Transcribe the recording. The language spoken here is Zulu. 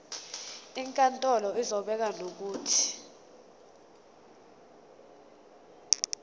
inkantolo izobeka nokuthi